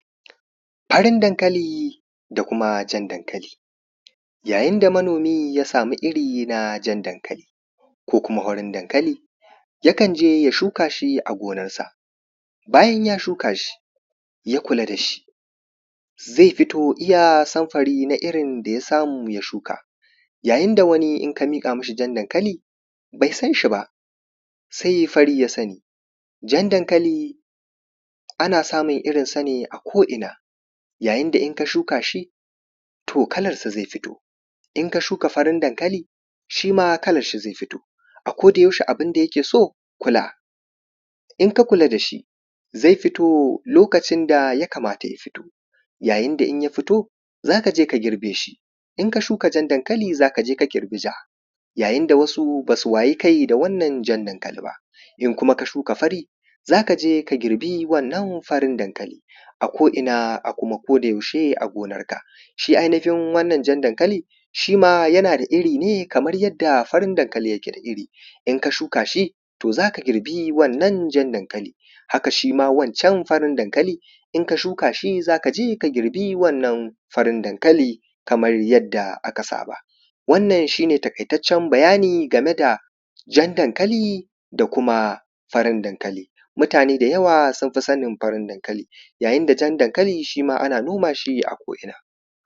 Farin daŋkali da kuma jan daŋkali: yayin da manomi ya samu iri na daŋkali, ko kuma farin daŋkali, yakan je ya shuka shi a gonansa. Bayan ya shuka shi ya kula da shi, ze fito iya sanfari na irin da ya samu ya shuka. Yayin da wani, in ka miƙa mishi jan daŋkali, bai san shi ba se fari ya sani. Jan daŋkali ana samu irinsa ne a ko ina, yayin da in ka shuka shi, to kalansa ze fito, in ka shuka farin daŋkali, shi ma kalansa ze fito akodayaushe abun da yake so, kula in ka kula da shi, zai fito lokacin da ya kamata ya fito. Yayin da ya fito, za ka je ka girbe shi in ka shuka jan daŋkali, za ka je ka girba ja. Yayin da wasu ba su waye kai da wannan jan daŋkali ba, idan kuma ka shuka fari, za ka je ka girbe wannan farin daŋkali ako’ina, a kuma kodayaushe a gonansa, shi anfi yin wannan jan daŋkali, shi ma yana da iri ne, kamar yadda farin daŋkali yake da iri. In ka shuka shi, to za ka girbi wannan jan daŋkalin, haka shi ma wancan farin daŋkali, in ka shuka shi, za ka je ka girba wannan farin daŋkalin, kamar yadda aka saba. Wannan shi ne taƙaitaccen bayani game da jan daŋkali da kuma farin daŋkali mutane da yawa sun fi sanin farin daŋkali.